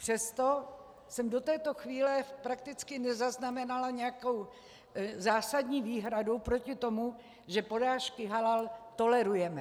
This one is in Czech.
Přesto jsem do této chvíle prakticky nezaznamenala nějakou zásadní výhradu proti tomu, že porážky halal tolerujeme.